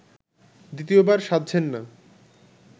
দ্বিতীয়বার সাধছেন না